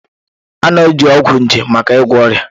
A na-eji ọgwụ nje maka ịgwọ ọrịa